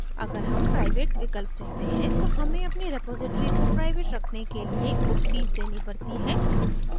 अगर हम private विकल्प चुनते हैं तो हमें अपनी रेपॉज़िटरी को प्राइवेट रखने के लिए कुछ fees देनी पड़ती है